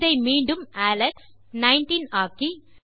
இதை மீண்டும் அலெக்ஸ் 19 ஆக்கி